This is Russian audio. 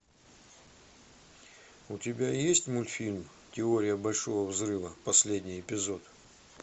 у тебя есть мультфильм теория большого взрыва последний эпизод